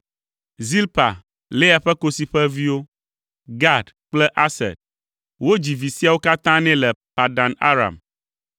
Zilpa, Lea ƒe kosi ƒe viwo: Gad kple Aser. Wodzi vi siawo katã nɛ le Padan Aram.